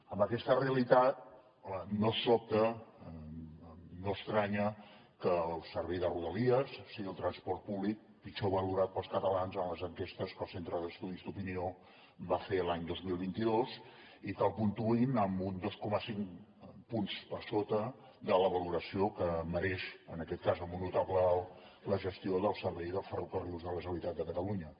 amb aquesta realitat home no sobta no estranya que el servei de rodalies sigui el transport públic pitjor valorat pels catalans en les enquestes que el centre d’estudis d’opinió va fer l’any dos mil vint dos i que el puntuïn amb dos coma cinc punts per sota de la valoració que mereix en aquest cas amb un notable alt la gestió del servei dels ferrocarrils de la generalitat de catalunya